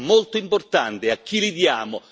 È molto importante a chi li diamo?